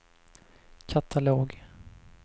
katalog